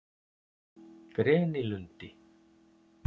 Grenilundi